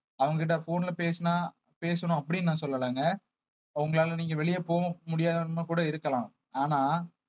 அவங்க கிட்ட phone ல பேசினா பேசணும் அப்படின்னு நான் சொல்லலைங்க அவங்களால நீங்க வெளிய போக முடியாத கூட இருக்கலாம் ஆனா